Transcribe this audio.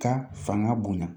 Ka fanga bonya